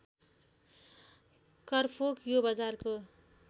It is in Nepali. करफोक यो बजारको